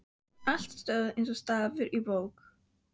Allt stóð eins og stafur á bók.